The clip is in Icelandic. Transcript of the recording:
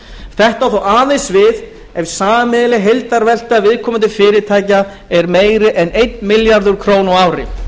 þetta á þó aðeins við ef sameiginleg heildarvelta viðkomandi fyrirtækja er meiri en einn milljarður króna á ári